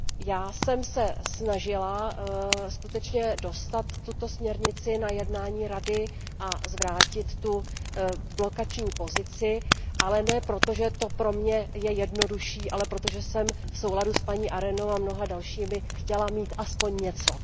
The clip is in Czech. Já jsem se snažila skutečně dostat tuto směrnici na jednání Rady a zvrátit to blokování, ale ne proto, že je to pro mě jednodušší, ale proto, že jsem v souladu s paní Arenovou a mnoha dalšími chtěla mít aspoň něco.